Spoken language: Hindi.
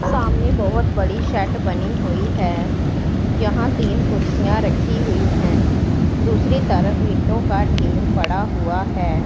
सामने बहोत बड़ी शेड बनी हुई है यहां तीन कुर्सियां रखी हुई हैं दूसरी तरफ ईंटों का ढेर पड़ा हुआ है।